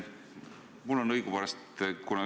Aitäh!